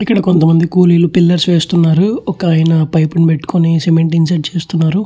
ఇక్కడ కొంత మంది కూలిలు పిల్లర్స్ వేస్తున్నారు. ఒక అయన పైప్ ని పట్టుకుని సిమెంట్ చేస్తున్నారు.